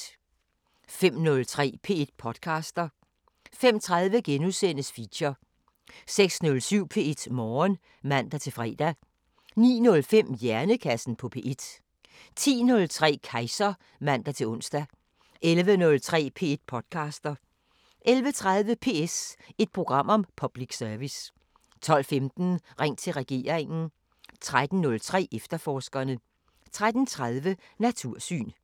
05:03: P1 podcaster 05:30: Feature * 06:07: P1 Morgen (man-fre) 09:05: Hjernekassen på P1 10:03: Kejser (man-ons) 11:03: P1 podcaster 11:30: PS – et program om public service 12:15: Ring til regeringen 13:03: Efterforskerne 13:30: Natursyn